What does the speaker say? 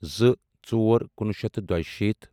زٕ ژور کُنوُہ شیٚتھ تہٕ دۄیہٕ شیٖتھ